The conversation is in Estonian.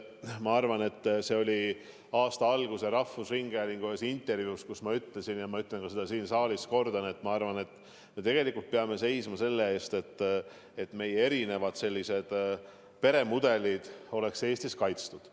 Ma arvan, et see oli üks aasta alguses toimunud rahvusringhäälingu intervjuu, kus ma ütlesin ja ma ütlen seda ka siin saalis, et minu arvates me tegelikult peame seisma selle eest, et erinevad peremudelid oleks Eestis kaitstud.